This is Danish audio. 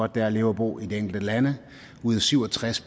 det er at leve og bo i de enkelte lande ud af syv og tres